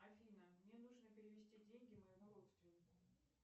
афина мне нужно перевести деньги моему родственнику